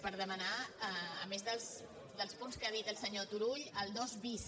per demanar a més dels punts que ha dit el senyor turull el dos bis